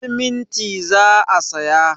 Siminti za a saya.